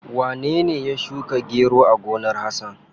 Wanene ya shuka gero a gonar Hasan?